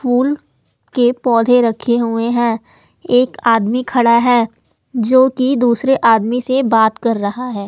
फूल के पौधे रखे हुए है एक आदमी खड़ा है जोकि दूसरे आदमी से बात कर रहा है।